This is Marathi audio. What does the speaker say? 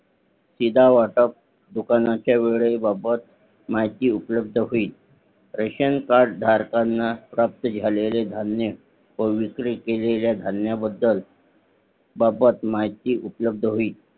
शिदा वाटप दुकानाचा वेळे बाबद माहिती उपलब्ध होईल रेशन कार्ड धारकांना प्राप्त झालेले धान्य वेगळे केलेल्या धान्य बद्दल बाबत माहिती उपलब्ध होईल